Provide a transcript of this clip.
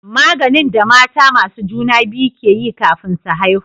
Maganin da mata masu juna biyu ke yi kafin su haihu